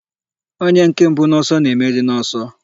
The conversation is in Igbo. Onye nke mbụ n'ọsọ na-emeri n'ọsọ.